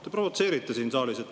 Te provotseerite siin saalis.